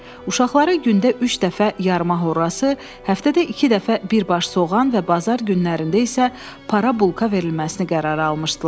Uşaqları gündə üç dəfə yarma horrası, həftədə iki dəfə bir baş soğan və bazar günlərində isə para bulka verilməsini qərara almışdılar.